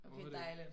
Okay dejligt